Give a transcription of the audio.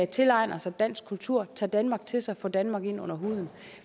tilegner sig dansk kultur tager danmark til sig får danmark ind under huden